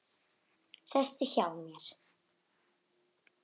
Sestu hjá mér.